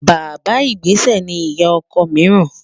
Bàbá ìgbésẹ̀ ni ìyá ọkọ míìràn